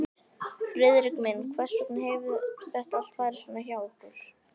Friðrik minn, hvers vegna hefur þetta farið svona hjá okkur?